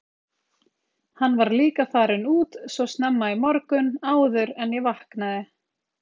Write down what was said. Hann var líka farinn út svo snemma í morgun, áður en ég vaknaði.